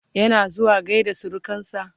yana zuwa gaida surukansa?